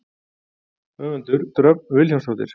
Höfundur: Dröfn Vilhjálmsdóttir.